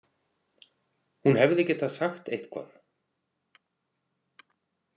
Hún hefði getað sagt eitthvað.